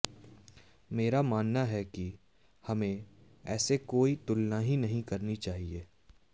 मेरा मानना है कि हमें ऐसी कोई तुलना ही नहीं करनी चाहिए